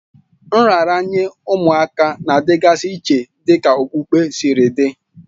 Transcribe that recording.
Nraranye ụmụaka na-adịgasị iche dịka okpukpe siri dị